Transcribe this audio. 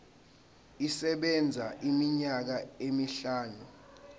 isebenza iminyaka emihlanu